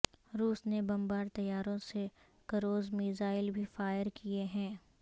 روس نے بمبار طیاروں سے کروز میزائل بھی فائر کیے ہیں